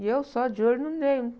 E eu só de olho no Ney.